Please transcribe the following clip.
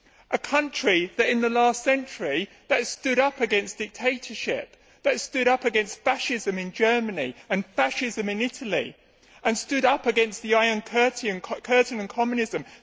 a country that in the last century stood up against dictatorship, stood up against fascism in Germany and fascism in Italy, and stood up against the Iron Curtain and Communism.